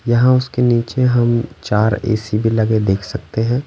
यहाँ उसके नीचे हम चार ए_सी भी लगे देख सकते हैं ।